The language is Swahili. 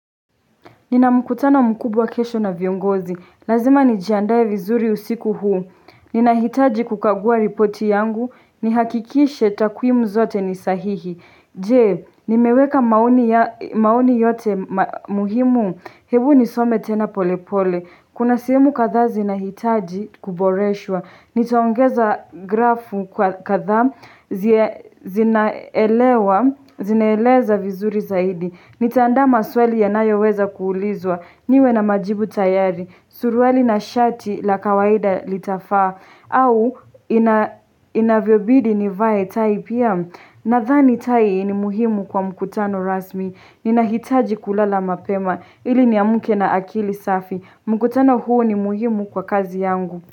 Nina mkutano mkubwa kesho na viongozi. Lazima nijiandae vizuri usiku huu. Ninahitaji kukagua ripoti yangu. Nihakikishe takwimu zote ni sahihi. Je, nimeweka maoni yote muhimu? Hebu nisome tena pole pole. Kuna sehemu kadhaa zinahitaji kuboreshwa. Nitaongeza grafu kwa kadhaa zinaelewa, zinaeleza vizuri zaidi. Nitaandaa maswali yanayoweza kuulizwa niwe na majibu tayari, suruali na shati la kawaida litafaa au inavyobidi nivae tai pia nadhani tai ni muhimu kwa mkutano rasmi. Ninahitaji kulala mapema ili niamke na akili safi. Mkutano huu ni muhimu kwa kazi yangu.